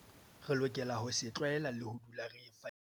Re lokela ho se tlwaela le ho dula re fadimehile.